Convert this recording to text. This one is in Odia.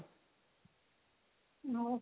ଓଃ